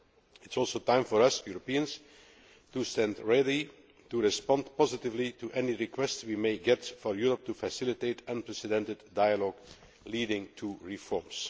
It is also time for us Europeans to stand ready to respond positively to any request we may get for Europe to facilitate unprecedented dialogue leading to reforms.